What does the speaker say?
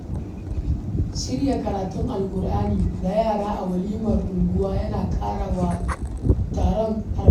Shirya karatun Alkur'ani ga yara a walimar unguwa yana ƙara wa taron armashi.